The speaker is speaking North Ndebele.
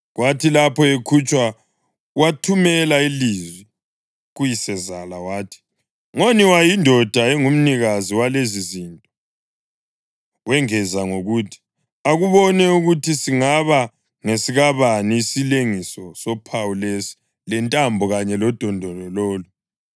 Kwathi lapho ekhutshwa wathumela ilizwi kuyisezala wathi, “Ngoniwa yindoda engumnikazi walezizinto.” Wengeza ngokuthi, “Akubone ukuthi singaba ngesikabani isilengiso sophawu lesi lentambo kanye lodondolo lolu.”